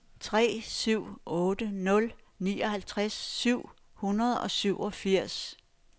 tre syv otte nul nioghalvtreds syv hundrede og syvogfirs